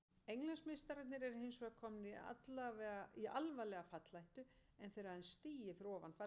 Englandsmeistararnir eru hinsvegar komnir í alvarlega fallhættu en þeir eru aðeins stigi fyrir ofan fallsætin.